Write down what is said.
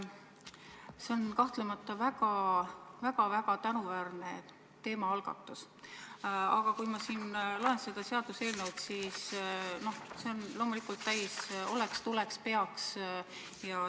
See on kahtlemata väga tänuväärne teemaalgatus, aga kui ma siin loen seda seaduseelnõu, siis näen, et see on täis sõnu "oleks", "tuleks", "peaks".